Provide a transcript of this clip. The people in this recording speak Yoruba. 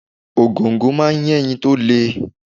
Ògòǹgò máa ń yé ẹyin to le.